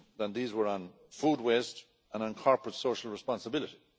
These were on food waste and on corporate social responsibility.